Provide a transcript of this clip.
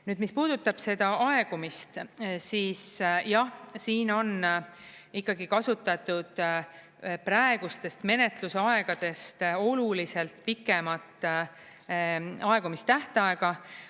Nüüd, mis puudutab seda aegumist, siis jah, siin on ikkagi kasutatud praegustest menetlusaegadest oluliselt pikemat aegumistähtaega.